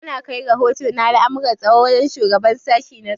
Ana kai rahoto na al'amurran tsaro wajen shugaban sashi na tsaro.